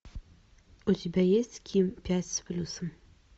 у тебя есть ким пять с плюсом